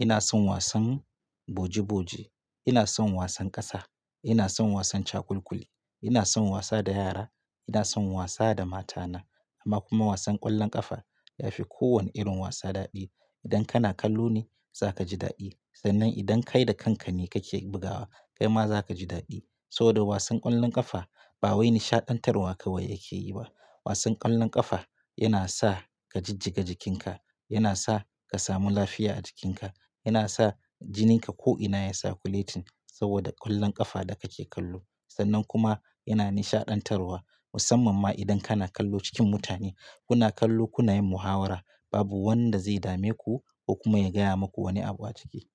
Ina son wasan boji-boji, ina son wasan ƙasa, ina son wasan cakulkuli, ina son wasa da yara, ina son wasa da mata na amma kuma wasan ƙwallon ƙafa ya fi kowane irin wasa daɗi. Idan kana kallo ne za ka ji daɗi sannan idan kai da kanka ne kake bugawa kai ma za ka ji daɗi. Saboda wasan ƙwallon ƙafa ba wai nishaɗantarwa kawai yake yi ba. Wasan ƙwallon ƙafa yana sa ka jijjiga jikinka, yana sa ka samu lafiya a jikinka, yana sa jinin ka ko'ina ya circulating saboda ƙwallon ƙafa da kake kallo sannan kuma yana nishaɗantarwa musamman ma idan kana kallo cikin mutane. Kuna kallo kuna yin muhawara babu wanda zai dame ku ko kuma ya gaya maku wani abu a ciki.